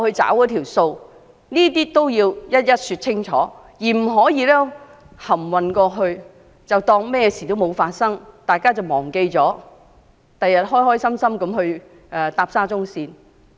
這些要一一說清楚，不可蒙混過關，當作甚麼事也沒有發生，日後待大家忘記後便高高興興地乘搭沙中線。